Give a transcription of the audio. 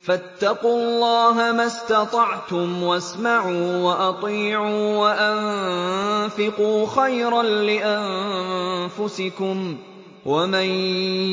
فَاتَّقُوا اللَّهَ مَا اسْتَطَعْتُمْ وَاسْمَعُوا وَأَطِيعُوا وَأَنفِقُوا خَيْرًا لِّأَنفُسِكُمْ ۗ وَمَن